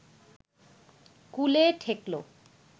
কূলে ঠেকল